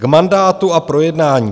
K mandátu a projednání.